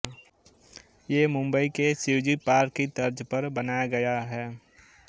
ये मुम्बई के शिवजी पार्क की तर्ज पर बनाया गया है